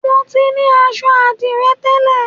Mo ti ní aṣọ àdìrẹ tẹ́lẹ̀